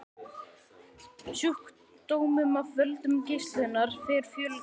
Sjúkdómum af völdum geislunar fer fjölgandi.